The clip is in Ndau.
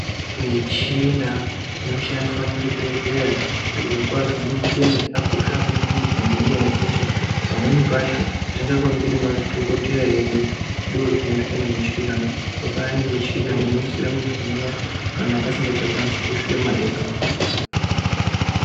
Michina inoshandiswa muzvibhedhleya zvikwazvo michina yakakosha maningi ngenyaya yekuti pamweni pacho zvisikakoneki ngemadhokodheya edu ndoozvinoitwa nemichina zvakafanana nemuchina unoisire munthu mweya kana asikachakwanisi kufema ega.